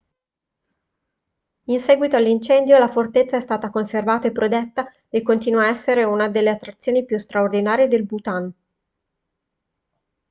in seguito all'incendio la fortezza è stata conservata e protetta e continua a essere una delle attrazioni più straordinarie del bhutan